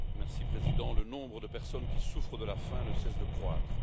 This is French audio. Monsieur le Président, le nombre de personnes qui souffrent de la faim ne cesse de croître.